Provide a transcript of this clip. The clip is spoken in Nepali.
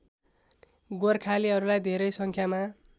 गोर्खालीहरूलाई धेरै सङ्ख्यामा